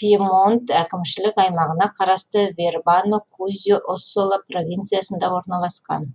пьемонт әкімшілік аймағына қарасты вербано кузьо оссола провинциясында орналасқан